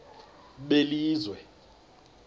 belizwe